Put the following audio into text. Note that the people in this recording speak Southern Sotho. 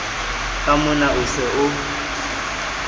ke mona o se o